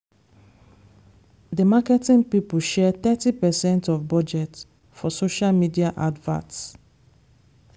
the marketing people share thirty percent of budget for social media adverts.